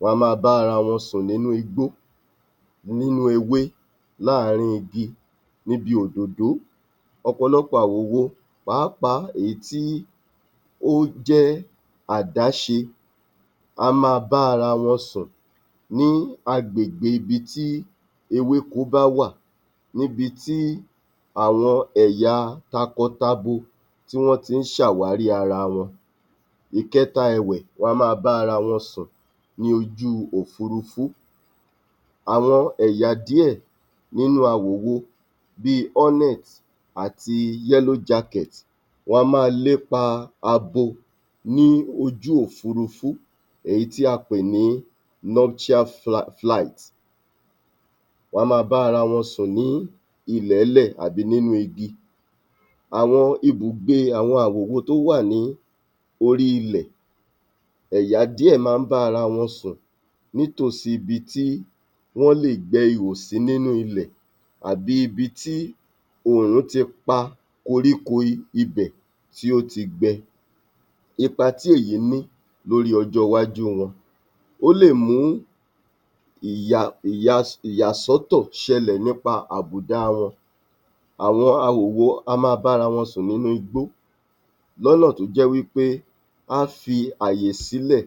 Wọ́n á máa bá ara wọn sùn nínú igbó, nínú ewé, láàrin igi, níbi òdòdó. ọ̀pọ̀lọpọ̀ àwòwo pàápàá èyí tí ó jẹ́ àdáṣe á máa bá ara wọn sùn ní agbègbè ibi tí ewéko bá wà níbi tí àwọn ẹ̀yà takọtabo ti máa ń ṣàwárí ara wọn. Ìkẹta ẹ̀wẹ̀, wọ́n á máa bá ara wọn sùn ní ojú òfúrufú. Àwọn ẹ̀yà díẹ̀ nínú awòwo bí i hornet àti yellow jacket wọ́n á máa lépa abo ní ojú òfúrufú èyí tí a pè ní wọn á máa bá ara wọn sùn ní ilẹ̀-ń-lẹ̀ àbí inú igi. Àwọn ibùgbe àwọn àwòwo tó wà ní orí ilẹ̀, ẹ̀yà díẹ̀ máa ń bá ara wọn sùn nítòsí ibi tí wọ́n lè gbẹ́ ihò sí nínú ilẹ̀ àbí ibi tí òòrùn ti pa kòríko ibẹ̀ tí ó ti gbẹ. Ipa tí èyí ní lórí ọjọ́ iwájú wọn, ó lè mú um ìyàsọ́tọ̀ ṣẹlẹ̀ nípa àbùda wọn. Àwọn awòwo á máa bá’ra wọn sùn nínú igbó lọ́nà tó jẹ́ wí pé á fí àyè sílẹ̀